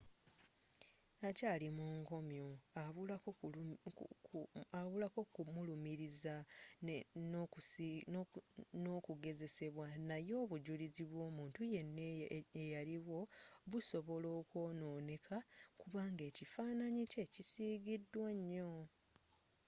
akyaali mu nkomyo abulako kumulumiriza nakugezesebwa naye obujulizi bw'omuntu yenna eyaliwo busobola okwonooneka kubanga ekifaananyi kye kisigiddwa nnyo